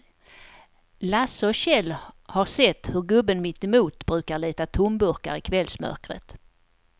Lasse och Kjell har sett hur gubben mittemot brukar leta tomburkar i kvällsmörkret.